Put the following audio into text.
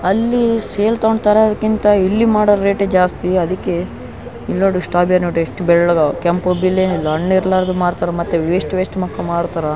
ಆಲ್ಲಿ ಸೇಲ್ ತೊಗೊಂಡ್ತಾರೆ ಅದ್ಕಿಂತ ಇಲ್ಲಿ ಮಾಡೊ ರೇಟೆ ಜಾಸ್ತಿ ಅದಿಕ್ಕೆ ಇಲ್ನೋಡು ಶ್ಟ್ರಾಬೆರ್ ನೋಡ್ರಿ ಎಷ್ಟು ಬೆಳ್ಲಗವ್ ಕೆಂಪು ಬಿಳಿ ಹಣ್ಣಿರ್ಮಾಲಾರ್ದು ಮಾರ್ರ್ತಾರ ಮತ್ತೆ ವೆಷ್ಟ ವೆಷ್ಟ ಮಕ್ಕೊಂ ಮಾರ್ತಾರ --